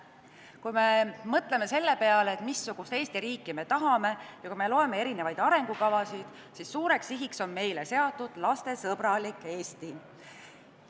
Kui me mõtleme selle peale, missugust Eesti riiki me tahame, ja kui me loeme erinevaid arengukavasid, siis suureks sihiks on meil seatud lastesõbralik Eesti.